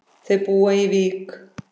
Þau búa í Vík.